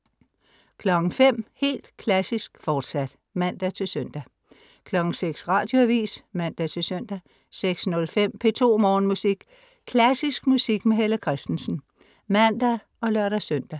05.00 Helt Klassisk, fortsat (man-søn) 06.00 Radioavis (man-søn) 06.05 P2 Morgenmusik . Klassisk musik med Helle Kristensen (man og lør-søn)